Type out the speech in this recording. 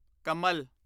ਕਮਲ